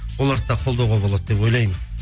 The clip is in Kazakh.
оларды да қолдауға болады деп ойлаймын